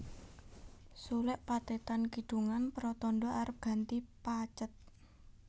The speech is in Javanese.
Suluk pathetan kidungan pratandha arep ganti pathet